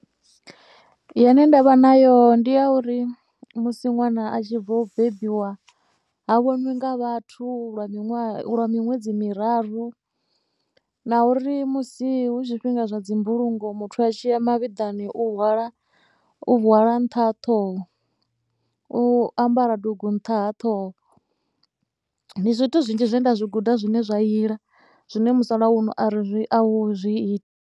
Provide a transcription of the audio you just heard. Ine nda vha nayo ndi ya uri musi ṅwana a tshi bva u bebiwa ha vhoniwi nga vhathu lwa miṅwe, lwa miṅwedzi miraru na uri musi hu zwifhinga zwa dzi mbulungo muthu a tshi ya mavhiḓani u hwala u hwala nṱha ha ṱhoho. U ambara dungu nṱha ha ṱhoho, ndi zwithu zwinzhi zwe nda zwi guda zwine zwa a iḽa zwine musalauno ari, a hu zwi iti.